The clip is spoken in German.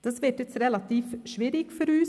Das wird jetzt relativ schwierig für uns.